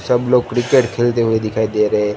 सब लोग क्रिकेट खेलते हुए दिखाई दे रहे--